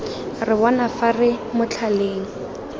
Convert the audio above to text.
re bona fa re motlhaleng